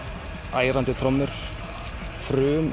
ærandi trommur